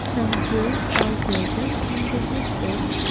some hills are present in the distance.